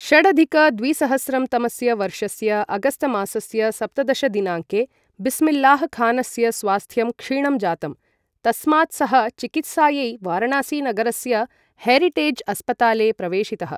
षडधिक द्विसहस्रं तमस्य वर्षस्य अगस्तमासस्य सप्तदश दिनाङ्के बिस्मिल्लाहखानस्य स्वास्थ्यं क्षीणं जातम्, तस्मात् सः चिकित्सायै वाराणसी नगरस्य हेरिटेज अस्पताले प्रवेशितः ।